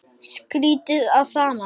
Skrýtið allt saman.